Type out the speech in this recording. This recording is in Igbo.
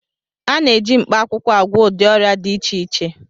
A na-eji mkpaakwụkwọ agwọ ụdị ọrịa dị iche iche